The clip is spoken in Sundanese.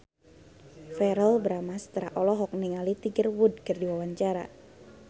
Verrell Bramastra olohok ningali Tiger Wood keur diwawancara